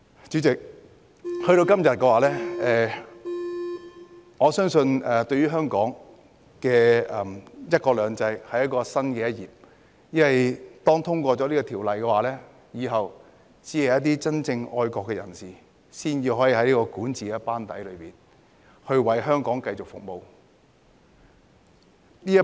主席，來到今天，我相信這對香港的"一國兩制"是新的一頁，因為《條例草案》通過後，只有真正愛國的人士才能加入管治班底，繼續為香港服務。